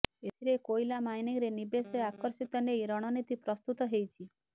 ଏଥିରେ କୋଇଲା ମାଇନିଂରେ ନିବେଶ ଆକର୍ଷିତ ନେଇ ରଣନୀତି ପ୍ରସ୍ତୁତ ହେଇଛି